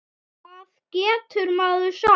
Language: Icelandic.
Hvað getur maður sagt?